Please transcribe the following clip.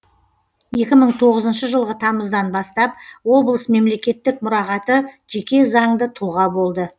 екі мың тоғызыншы жылғы тамыздан бастап облыс мемлекеттік мұрағаты жеке заңды тұлға болды